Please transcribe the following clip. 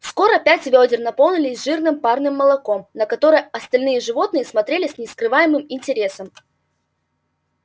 скоро пять вёдер наполнились жирным парным молоком на которое остальные животные смотрели с нескрываемым интересом